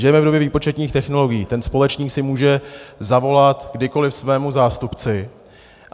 Žijeme v době výpočetních technologií, ten společník si může zavolat kdykoliv svému zástupci.